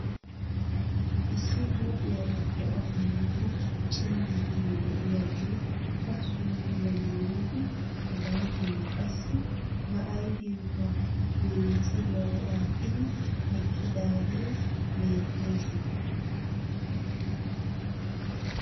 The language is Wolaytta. Issi hoophiyaara bo'ay miido cima bitanee de'iyaagee ba suufiyaa maayidi hegaa bolla qassi ba ayfiyankka maatsiriyaa aattidi eqqidaagee beettes .